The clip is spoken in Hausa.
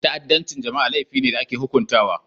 Ta'addancin jama'a laifi ne da ake hukuntawa.